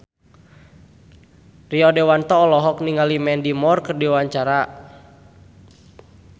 Rio Dewanto olohok ningali Mandy Moore keur diwawancara